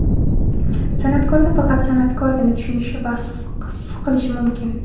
San’atkorni faqat san’atkorgina tushunishi va his qilishi mumkin.